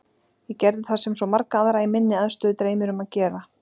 Ég gerði það sem svo marga aðra í minni aðstöðu dreymir um að gera.